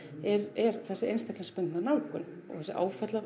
er þessi einstaklingsbundna nálgun og þessi